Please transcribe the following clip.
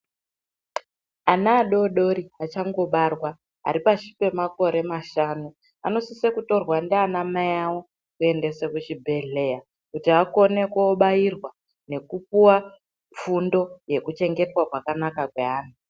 Ana adodori achangobarwa ari pashi pemakore mashanu, anosise kutorwa ndiana mai awo kuendeswe kuchibhedhlera kuti akone kobairwa nekupuwa fundo yekuchengetwa kwakanaka kweana.